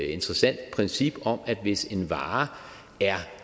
interessant princip om at hvis en vare